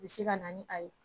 Bɛ se ka na ni a ye